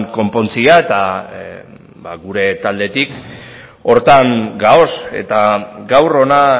konpontzea eta gure taldetik horretan gaude eta gaur hona